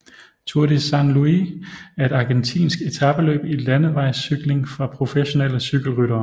Tour de San Luis er et argentinsk etapeløb i landevejscykling for professionelle cykelryttere